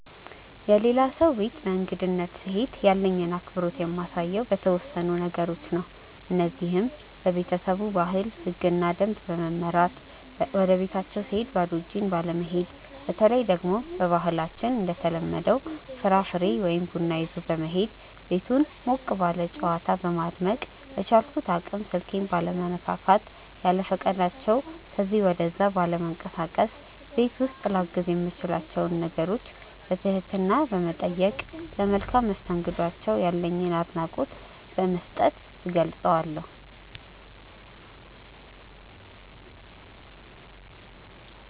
የሌላ ሰው ቤት በእንግድነት ስሄድ ያለኝን አክብሮት የማሳየው በተወሰኑ ነገሮች ነው። እነዚህም:- በቤተሰቡ ባህል፣ ህግና ደንብ በመመራት፣ ወደቤታቸው ስሄድ ባዶ እጄን ባለመሄድ፣ በተለይ ደግሞ በባህላችን እንደተለመደው ፍራፍሬ ወይ ቡና ይዞ በመሄድ፣ ቤቱን ሞቅ ባለ ጨዋታ በማድመቅ፣ በቻልኩት አቅም ስልኬን ባለመነካካት፣ ያለፈቃዳቸው ከዚ ወደዛ ባለመንቀሳቀስ፣ ቤት ውስጥ ላግዝ የምችላቸውን ነገሮች በትህትና በመጠየቅ፣ ለመልካም መስተንግዷቸው ያለኝን አድናቆት በመስጠት እገልፀዋለሁ።